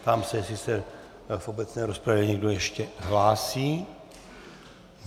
Ptám se, jestli se v obecné rozpravě někdo ještě hlásí.